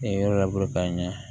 E yɔrɔ laban